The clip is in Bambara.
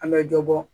An bɛ dɔ bɔ